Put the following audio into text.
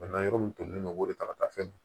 Bana yɔrɔ min tolen don o de ta ka taa fɛn min